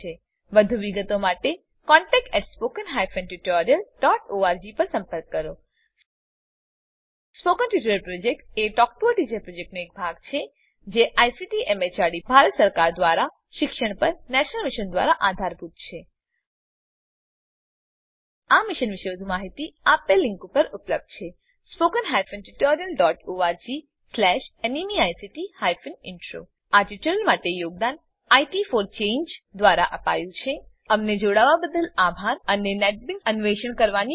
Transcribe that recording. વધુ વિગતો માટે contactspoken tutorialorg પર લખો spoken tutorial project talk to a teacher પ્રોજેક્ટનો એક ભાગ છે જેને આઈસીટી એમએચઆરડી ભારત સરકાર મારફતે શિક્ષણ પર નેશનલ મિશન દ્વારા આધાર અપાયેલ છે આ મિશન પરની વધુ માહિતી spoken tutorialorgnmeict ઇન્ટ્રો પર ઉપલબ્ધ છે આ ટ્યુટોરીયલ માટે યોગદાન ઇટ ફોર ચાંગે દ્વારા અપાયું છે અમને જોડાવાબદ્દલ આભાર અને નેટબીન્સ અન્વેષણ કરવાની મોજ લો